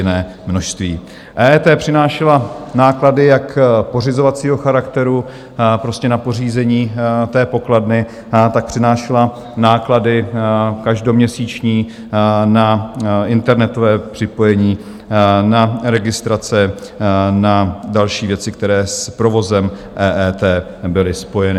EET přinášela náklady jak pořizovacího charakteru, prostě na pořízení té pokladny, tak přinášela náklady každoměsíční na internetové připojení, na registrace, na další věci, které s provozem EET byly spojeny.